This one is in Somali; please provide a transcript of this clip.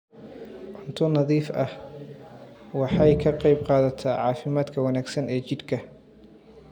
Cunto nadiif ah waxay ka qaybqaadataa caafimaadka wanaagsan ee jidhka.